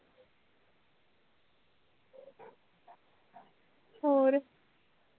ਹੋਰ